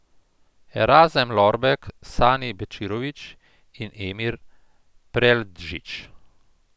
Erazem Lorbek, Sani Bečirović in Emir Preldžić.